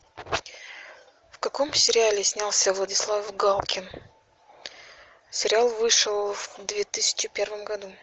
в каком сериале снялся владислав галкин сериал вышел в две тысячи первом году